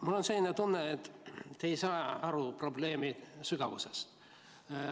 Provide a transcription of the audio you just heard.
Mul on selline tunne, et te ei saa aru probleemi sügavusest.